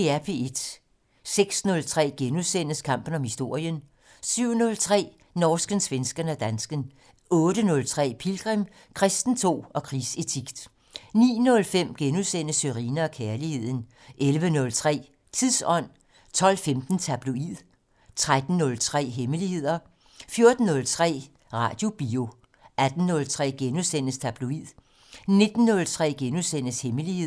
06:03: Kampen om historien * 07:03: Norsken, svensken og dansken 08:03: Pilgrim - Kristentro og krigsetik 09:05: Sørine & Kærligheden * 11:03: Tidsånd 12:15: Tabloid 13:03: Hemmeligheder 14:03: Radiobio 18:03: Tabloid * 19:03: Hemmeligheder *